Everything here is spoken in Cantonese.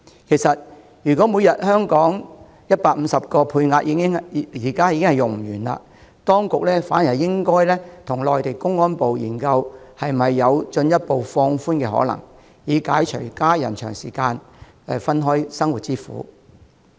其實，如果每天150個配額已不能用完，當局應考慮與內地公安部研究進一步放寬的可能，以解除家人長時間分開生活之苦。